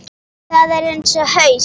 Það er eins og haus